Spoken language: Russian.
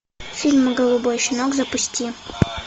фильм голубой щенок запусти